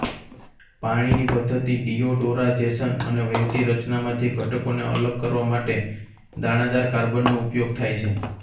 પાણીની પદ્ધતિ ડિયોડોરાઝેશન અને વહેતી રચનામાંથી ઘટકોને અલગ કરવા માટે દાણાદાર કાર્બનનો ઉપયોગ થાય છે